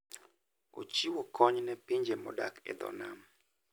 Ochiwo kony ne pinje modak e dho nam.